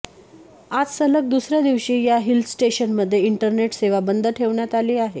आज सलग दुसऱ्या दिवशी या हिलस्टेशनमध्ये इंटरनेट सेवा बंद ठेवण्यात आली आहे